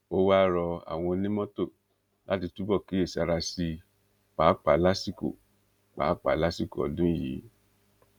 ó wáá rọ àwọn onímọtò láti túbọ kíyèsára sí i páàpáà lásìkò páàpáà lásìkò ọdún yìí